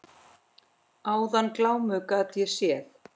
Áðan glámu gat ég séð.